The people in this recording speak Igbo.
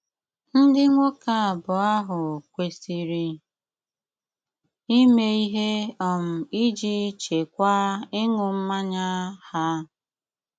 ndị nwoke abụọ áhụ kwésírè ímé íhé um iji chị́kwáa ịṅú mmányá há.